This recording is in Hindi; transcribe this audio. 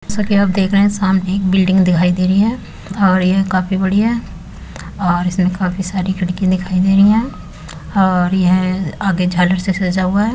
जैसा की आप देख रहे है सामने एक बिल्डिंग दिखाई दे रही है और ये काफी बड़ी है और इसमें काफी सारी खिड़कि दिखाई दे रही है और यह आगे झालर से सजा हुआ है।